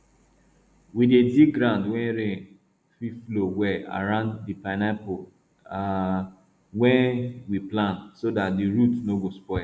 we dey dig ground wey rain fit flow well around di pineapple um wey we plant so dat di roots no go spoil